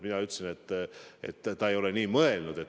Mina ütlesin, et ta ei ole nii mõelnud.